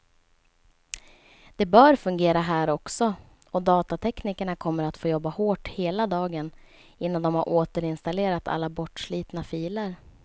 Det bör fungera här också, och datateknikerna kommer att få jobba hårt hela dagen innan de har återinstallerat alla bortslitna filer.